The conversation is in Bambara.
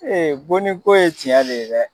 bonniko ye cɛn de ye dɛ.